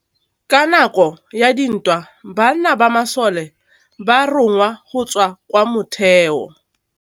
Ka nakô ya dintwa banna ba masole ba rongwa go tswa kwa mothêô.